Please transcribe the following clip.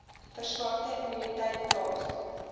verswakte immuniteit plaas